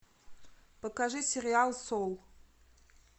покажи сериал соул